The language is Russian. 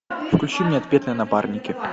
включи мне отпетые напарники